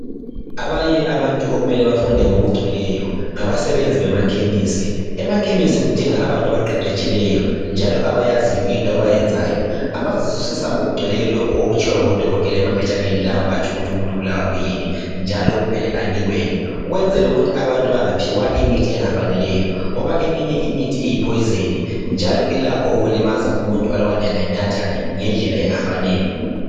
Abanye abantu okumele bafunde ngokugcweleyo ngabasebenzi bemakhemesi. Emakhemesi kudinga abantu abaqeqetshileyo njalo abayaziyo into abayenzayo abazazwisisa ngokugcweleyo lokho okutshiwo ngudokotela emaphetshaneni lawa atshukuthi umuntu ubulawa kuyini njalo kumele anikweni ukwenzela ukuthi abantu bangaphiwa imithi engafanele ngoba eminye imithi ingutshefu njalo ilakho ukulimaza umuntu alubana engayinatha ngendlela engafanele.